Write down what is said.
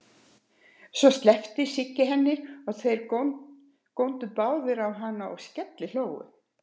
Svo sleppti Siggi henni og þeir góndu báðir á hana og skellihlógu.